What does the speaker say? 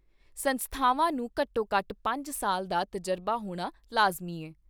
ਸੰਸਥਾਵਾਂ ਨੂੰ ਘੱਟੋ ਘੱਟ ਪੰਜ ਸਾਲ ਦਾ ਤਜਰਬਾ ਹੋਣਾ ਲਾਜ਼ਮੀ ਐ।